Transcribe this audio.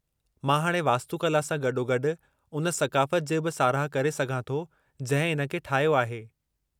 मां हाणे वास्तुकला सां गॾोगॾु उन सक़ाफ़त जी बि साराहु करे सघां थो जंहिं इन खे ठाहियो आहे।